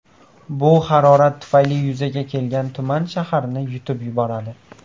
Bu harorat tufayli yuzaga kelgan tuman shaharni yutib yuboradi.